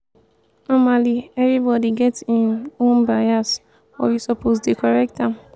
normally everybody get em own bias but we suppose dey correct am.